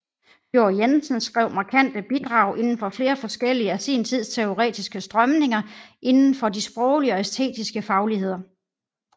Fjord Jensen skrev markante bidrag inden for flere forskellige af sin tids teoretiske strømninger indenfor de sproglige og æstetiske fagligheder